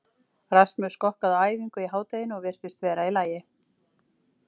Rasmus skokkaði á æfingu í hádeginu og virtist vera í lagi.